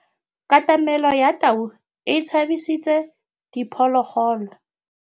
Katamêlô ya tau e tshabisitse diphôlôgôlô.